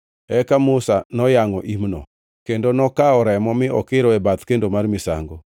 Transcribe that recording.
Eka Musa noyangʼo imno, kendo nokawo remo mi okiro e bath kendo mar misango.